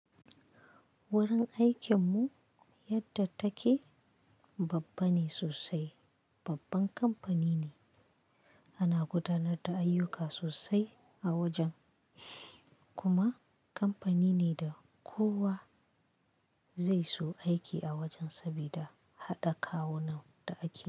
Wurin aikinmu yadda take babba ne sosai, babban kamfani ne. Ana gudanar da ayyuka sosai a wajen, kuma kamfani ne da kowa zai so aiki a wajen sabida haɗa kawunan da ake yi.